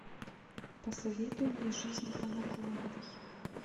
посоветуй мне жизнь по наклонной